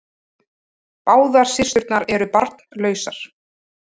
Báðar systurnar eru barnlausar